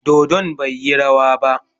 Dodon bai yi rawa ba.